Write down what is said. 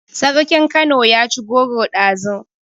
Sarkin kano yaci goro ɗazu